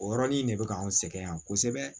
O yɔrɔnin de bɛ ka anw sɛgɛn yan kosɛbɛ